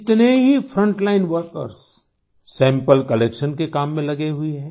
कितने ही frontline workers sample collection के काम में लगे हुए हैं